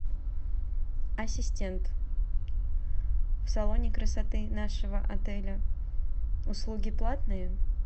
ассистент в салоне красоты нашего отеля услуги платные